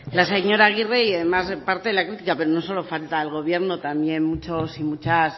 la señora agirre y además parte de la crítica pero no solo falta el gobierno también muchos y muchas